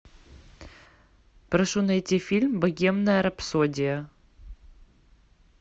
прошу найти фильм богемная рапсодия